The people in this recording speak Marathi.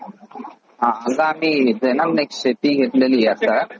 मी शेती घेतलेली आहे आता.